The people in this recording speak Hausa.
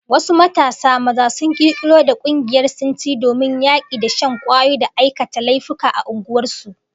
Wasu matasa maza sun kirkiro da kungiyar sintiri domin yaki da shan kwayoyi da aikata laifuffuka a unguwar su